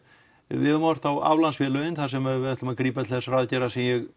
við höfum horft á aflandsfélögin þar sem við ætlum að grípa til þessara aðgerða sem ég